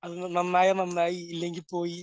അങ്ങ് നന്നായാ നന്നായി ഇല്ലെങ്കിൽ പോയി